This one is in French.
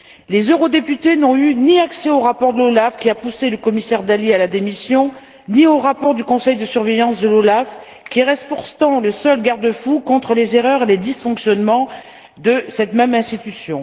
Les eurodéputés n'ont eu accès ni au rapport de l'OLAF qui a poussé le commissaire Dalli à la démission, ni au rapport du comité de surveillance de l'OLAF, qui reste pourtant le seul garde fou contre les erreurs et les dysfonctionnements de cette même institution.